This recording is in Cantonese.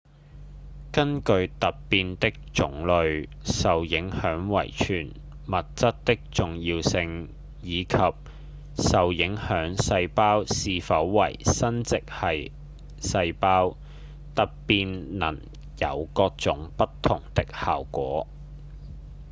根據突變的種類、受影響遺傳物質的重要性、以及受影響細胞是否為生殖系細胞突變能有各種不同的效果